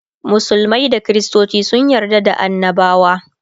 musulmai da kristoci sun yarda da annabawa